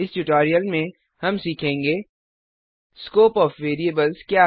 इस ट्यूटोरियल में हम सीखेंगे स्कोप ओएफ वेरिएबल्स क्या है